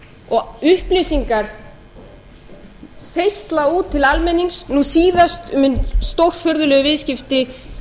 og upplýsingar seytla út til almennings nú síðast um hin stórfurðulegu viðskipti sjeiksins í